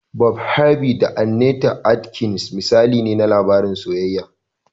"Bob Harvey da Annete Adkins" misali ne na labarin soyayya.